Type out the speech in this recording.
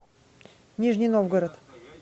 нижний новгород